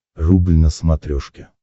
рубль на смотрешке